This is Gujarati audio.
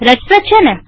રસપ્રદ છેને